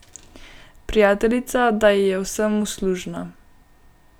Prijateljica, da ji je v vsem uslužna.